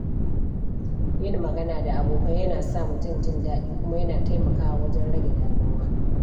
Yin magana da abokai yana sa mutum jin daɗi, kuma yana taimakawa wajen rage damuwa.